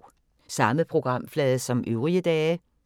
Samme programflade som øvrige dage